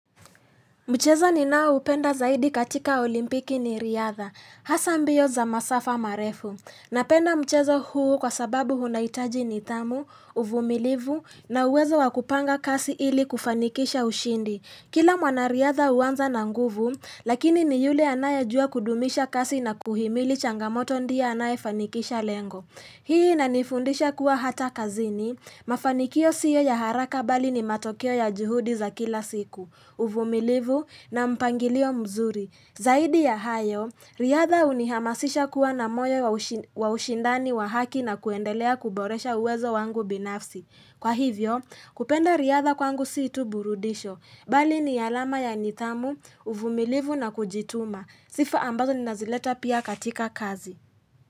Mchezo ninaoupenda zaidi katika olimpiki ni riadha. Hasa mbio za masafa marefu. Napenda mchezo huu kwa sababu unahitaji nidhamu, uvumilivu na uwezo wa kupanga kasi ili kufanikisha ushindi. Kila mwanariadha huanza na nguvu, lakini ni yule anayejua kudumisha kasi na kuhimili changamoto ndiye anayefanikisha lengo. Hii inanifundisha kuwa hata kazini, mafanikio sio ya haraka bali ni matokeo ya juhudi za kila siku. Uvumilivu na mpangilio mzuri. Zaidi ya hayo, riadha hunihamasisha kuwa na moyo wa ushindani wa haki na kuendelea kuboresha uwezo wangu binafsi. Kwa hivyo, kupenda riadha kwangu si tu burudisho, bali ni alama ya nidhamu, uvumilivu na kujituma, Sifa ambazo ninazileta pia katika kazi.